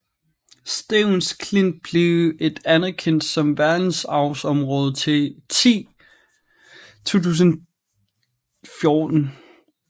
Stevns Klint blev et anerkendt som verdensarvsområde ti 2014